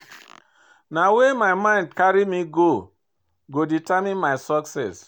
Na where my mind dey carry me go go determine my success.